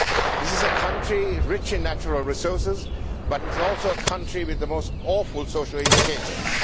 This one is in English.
This is a country rich in natural resources, but it is also a country with the most awful social indicators.